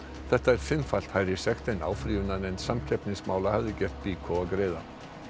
þetta er fimmfalt hærri sekt en áfrýjunarnefnd samkeppnismála hafði gert BYKO að greiða